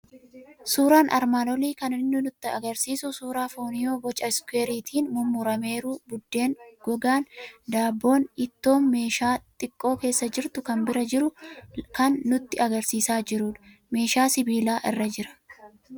Suuraan armaan olii kan inni nutti argisiisu suuraa fooniu boca Iskuweeriitiin mummurameeru, buddeen gogaan, daabboon, ittoo meeshee xiqqoo keessa jirtu kan bira jiru lan nutti argisiisaa jirudha. Meeshaa sibiilaa irra jira.